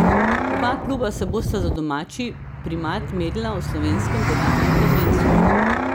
Oba kluba se bosta za domači primat merila v slovenskem državnem prvenstvu.